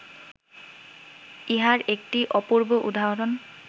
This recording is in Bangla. ইহার একটি অপূর্ব উদাহরণ